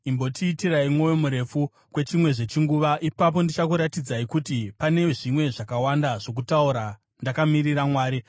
“Imbondiitirai mwoyo murefu kwechimwezve chinguva, ipapo ndichakuratidzai kuti pane zvimwe zvakawanda zvokutaura, ndakamiririra Mwari.